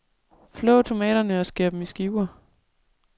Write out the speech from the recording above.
Flå tomaterne og skær dem i skiver.